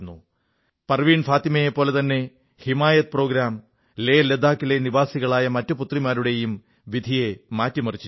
പർവീൺ ഫാത്തിമയെപ്പോലെതന്നെ ഹിമായത് പരിപാടി ലേലഡാക്കിലെ നിവാസികളായ മറ്റു പുത്രിമാരുടെയും വിധിയെ മാറ്റിമറിച്ചിരിക്കുന്നു